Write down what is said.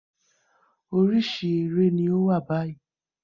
Orísìí eré ní ó wà báyìí